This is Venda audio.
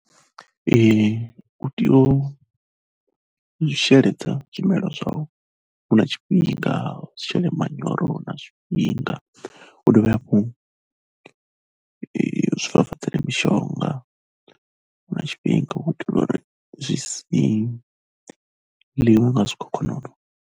U tea u sheledza zwimela zwau hu na tshifhinga, u shele manyoro hu na tshifhinga, u dovhe hafhu zwi fafadzelwe mishonga hu na tshifhinga, u itela uri zwi si ḽiwe nga zwikhokhonono.